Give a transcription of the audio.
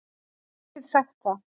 Ég get sagt það.